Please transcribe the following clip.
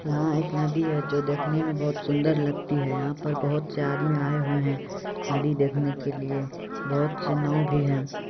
यहां एक नदी है जो देखने में बहुत सुंदर लगती है यहां पर बहुत से आदमी आए हुए हैं नदी देखने के लिए बहुत सी नाव भी है।